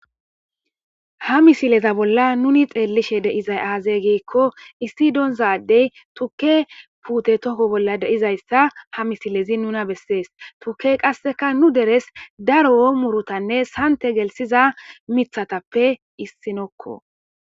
Ha missileza bolan nuni xelishe de'zaysi aze giko issi donza adey tuke pute toko bola de'izaysa ha missilezi nuna beses tukey qaseka nu deres daro murutane sante gelsiza mitatape issinoko.